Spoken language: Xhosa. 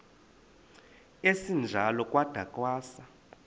esinjalo kwada kwasa